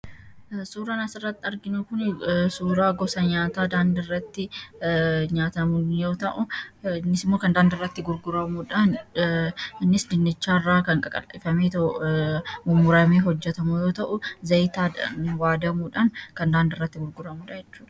Suuraan asirratti arginu kun suuraa gosa nyaataa daandiirratti nyaatamu yoo ta'u, innis immoo kan daandiirratti gurguramuudhaan innis dinnicharraa kan qaqal'ifamee, mummuramee hojjatamu yoo ta'u, zayitiidhaan waadamuudhaan kan daandiirratti gurguramudha jechuudha.